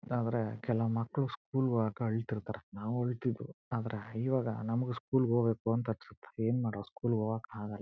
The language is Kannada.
ಆದ್ರೆ ಕೆಲ ಮಕ್ಕಳು ಸ್ಕೂಲ್ ಹೋಗಕ್ ಅಳತ್ತಿರತ್ತರೆ ನಾವು ಹೊಯೈತ್ತಿವು ಆದ್ರೆ. ಈವಾಗ ನಮ್ಮಗೂ ಸ್ಕೂಲ್ ಹೋಗಬೇಕು ಅಂತ ಅನ್ನಸುತ್ತೆಏನ್ ಮಾಡೋದು ಸ್ಕೂಲ್ ಹೋಗಕ್ ಆಗಲ್ಲಾ.